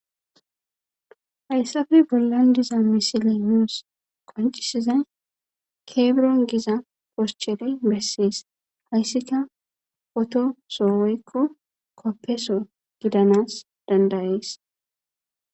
hayssafe bollan diza misile nuus koncisizay keebron giza poscheley bessees hayssika poto sooweykko koppeso gidanas dandayees